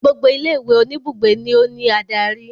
Gbogbo ilé ìwé oníbùgbé ni ó ní adarí.